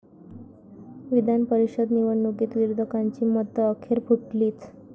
विधान परिषद निवडणुकीत विरोधकांची मतं अखेर फुटलीच!